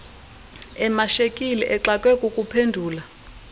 emashekile exakwe kukuphendula